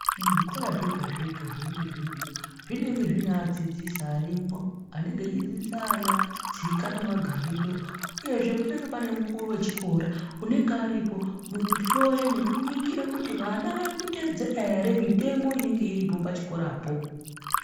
Muzvikora zvega-zvega zvinenge zvine adzidzisi arimwo anenge achidzidzisa ana tsika nemagariro. Uyezve panange pane mukuru vechikora unonga aripo mukuhloya nekuningira kuti vana varikutedzera ere mitemo inonga iripo pachikorapo.